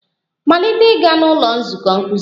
Malite ịga n'ụlọ nzukọ nkuzi!